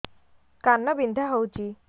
କାନ ବିନ୍ଧା ହଉଛି